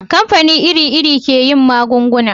kamfani iri iri ke yin magunguna